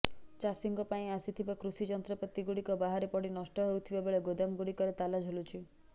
ଚାଷୀଙ୍କ ପାଇଁ ଆସିଥିବା କୃଷି ଯନ୍ତ୍ରପାତି ଗୁଡିକ ବାହାରେ ପଡି ନଷ୍ଟ ହେଉଥିବା ବେଳେ ଗୋଦାମଗୁଡିକରେ ତାଲା ଝୁଲୁଛି